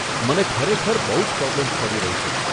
મને ખરેખર બહુ જ પ્રોબ્લેમ્સ પડી રહી છે.